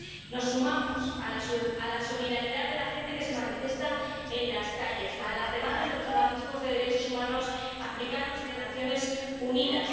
Nos sumamos a la solidaridad de la gente que se manifiesta en las calles, a las demandas de los organismos de derechos humanos africanos y de las Naciones Unidas.